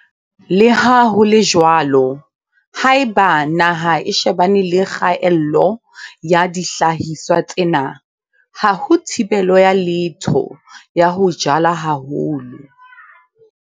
Le ha ho le jwalo, haeba naha e shebane le kgaello ya dihlahiswa tsena, ha ho thibelo ya letho ya ho jala haholo.